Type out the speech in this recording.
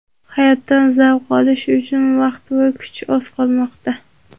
hayotdan zavq olish uchun vaqt va kuch oz qolmoqda.